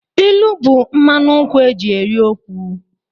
Ilu bụ mmanụ nkwụ e ji eri okwu.